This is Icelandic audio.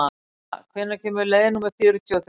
Mónika, hvenær kemur leið númer fjörutíu og þrjú?